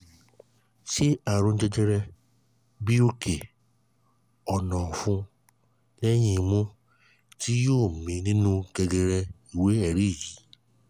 ṣé àrùn jẹjẹrẹ bi oke onofun lehin imu ti yọ mí nínú gegere iwe eri yi?